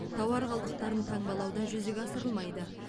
тауар қалдықтарын таңбалау да жүзеге асырылмайды